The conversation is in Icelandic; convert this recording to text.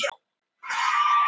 Hún er föst við vegginn.